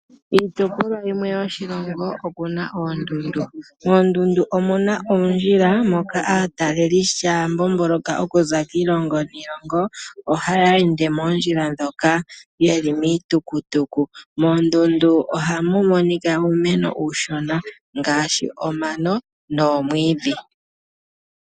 Kiitopolwa yimwe yoshilongo okuna oondundu. Moondundu omuna oondjila moka aatalelipo ngele taa mbomboloka okuza kiilongo niilongo. Ohaya ende moondjila ndhoka yeli miitukutuku. Moondundu ohamu monika uumeno uushona ngaashi omano noomwiidhi.